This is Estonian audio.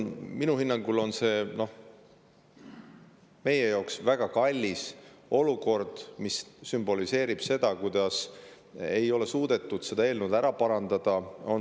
Minu hinnangul on see meie jaoks väga kalliks läinud olukord, mis sümboliseerib seda, et ei ole suudetud seda eelnõu ära parandada.